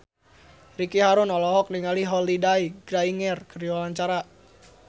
Ricky Harun olohok ningali Holliday Grainger keur diwawancara